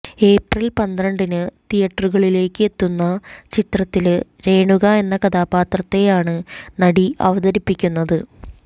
April പന്ത്രണ്ടിന് തിയറ്ററുകളിലേക്ക് എത്തുന്ന ചിത്രത്തില് രേണുക എന്ന കഥാപാത്രത്തെയാണ് നടി അവതരിപ്പിക്കുന്നത്